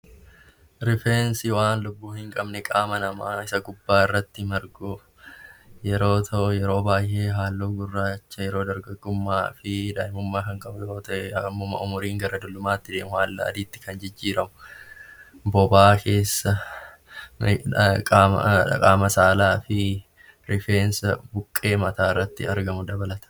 Rifeensi waan lubbuu hin qabne qaama namaa gubbaa irratti kan argamu yeroo ta'uu; yetoo baayyee halluu gurraachaa yeroo dargaggoomaa yoo ta'u yeroo umuriin gara dullumaatti deemu immoo kan jijjiiramuudha. Rifeensi Kunis bobaa jala, naannoo qaama saalaa fi buqqee mataa irra kan jiru dabalata.